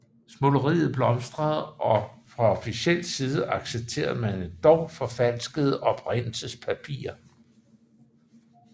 Smugleriet blomstrede og fra officiel side accepterede man endog forfalskede oprindelsespapirer